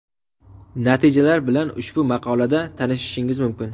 Natijalar bilan ushbu maqola da tanishishingiz mumkin.